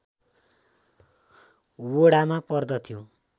वडामा पर्दथ्यो